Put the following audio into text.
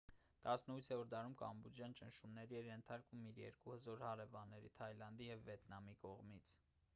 18-րդ դարում կամբոջան ճնշումների էր ենթարկվում իր երկու հզոր հարևանների թայլանդի և վիետնամի կողմից